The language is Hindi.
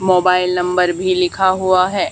मोबाइल नंबर भी लिखा हुआ है।